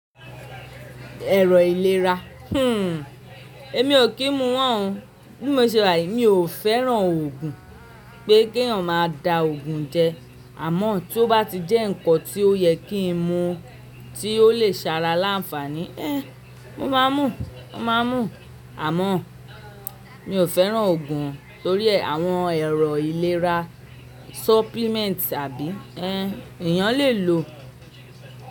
Ẹ̀rọ ìlera. Èmi o kí n mu wọ́n o Bí mo ṣe wà yi, mi o fẹ́ràn òògùn, pé kí ẹ̀yàn máa da òògùn jẹ, àmọ́ tí ó bá ti jẹ́ ǹkan tí ó yẹ kí n mu tí ó lè ṣe ara láǹfààní, mo máa mú, mo máa mú. Àmọ́ mi o fẹ́ràn òògùn torí e àwọn ẹ̀rọ ìlera, supplement àbí? Ẹ̀yàn lè lò.